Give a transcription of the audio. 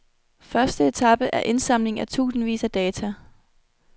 Første etape er indsamling af tusindvis af data.